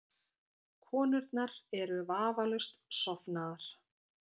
Konurnar eru vafalaust sofnaðar.